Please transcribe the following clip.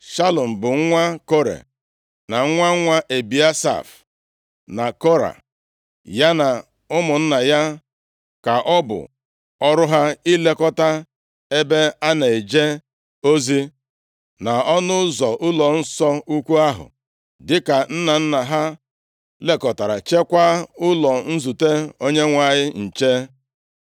Shalum bụ nwa Kore, na nwa nwa Ebiasaf na Kora. Ya na ụmụnna ya ka ọ bụ ọrụ ha ilekọta ebe a na-eje ozi, na ọnụ ụzọ ụlọnsọ ukwu ahụ dịka nna nna ha lekọtara, cheekwa ụlọ nzute Onyenwe anyị nche.